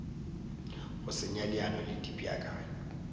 go senya leano le dipeakanyo